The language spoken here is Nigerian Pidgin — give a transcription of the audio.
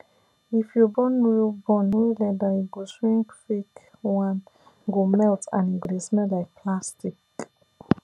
if you burn real burn real leather e go shrink fake one go melt and e go dey smell like plastic